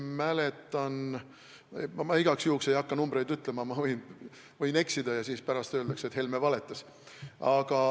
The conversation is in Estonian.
Ma igaks juhuks ei hakka numbreid ütlema, ma võin eksida ja siis öeldakse, et Helme valetas.